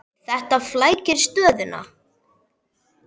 Heimir: Þetta flækir stöðuna?